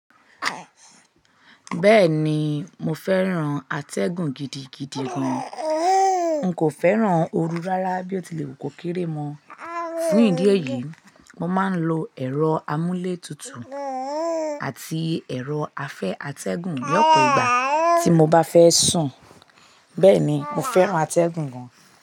Bẹ́ẹ̀ni, mo fẹ́ràn atẹ́gùn gidigidi gan. N kò fẹ́ràn oru rárá bí ó tilẹ̀ wù kó kéré mọ. Fún ìdí èyí, mo máa ń lo ẹ̀rọ amúlétutù àti ẹ̀rọ afẹ́ atẹ́gùn ní ọ̀pọ̀ ìgbà tí mo bá fẹ́ sùn. Bẹ́ẹ̀ni, mo fẹ́ràn atẹ́gùn gan.